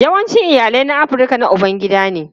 Yawancin iyalai na Afirka na ubangida ne.